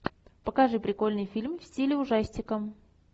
покажи прикольный фильм в стиле ужастикам